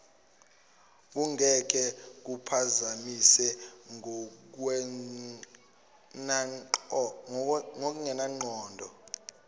kungeke kuphazamise ngokungenangqondo